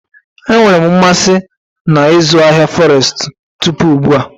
Enwere m mmasị na ịzụ ahịa Forestu tupu ugbu a.